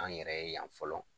An yɛrɛ ye yan fɔlɔ